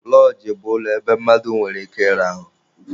Lọọjị bụ ulọ ebe mmadụ nwere ike ịrahụ.